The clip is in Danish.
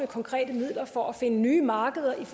konkrete midler for at finde nye markeder til